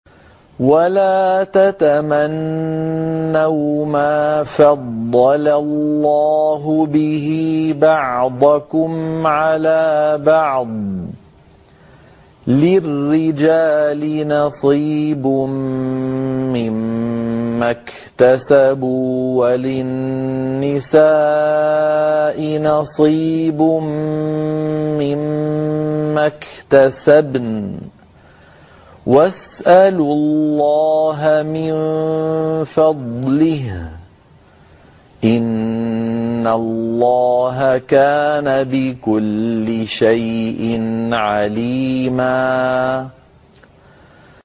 وَلَا تَتَمَنَّوْا مَا فَضَّلَ اللَّهُ بِهِ بَعْضَكُمْ عَلَىٰ بَعْضٍ ۚ لِّلرِّجَالِ نَصِيبٌ مِّمَّا اكْتَسَبُوا ۖ وَلِلنِّسَاءِ نَصِيبٌ مِّمَّا اكْتَسَبْنَ ۚ وَاسْأَلُوا اللَّهَ مِن فَضْلِهِ ۗ إِنَّ اللَّهَ كَانَ بِكُلِّ شَيْءٍ عَلِيمًا